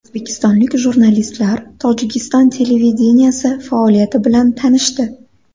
O‘zbekistonlik jurnalistlar Tojikiston televideniyesi faoliyati bilan tanishdi .